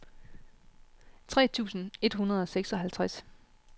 tres tusind et hundrede og seksoghalvtreds